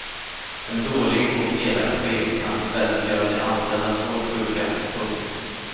En dålig och elak chef kan i stället göra de anställda svårt sjuka. punkt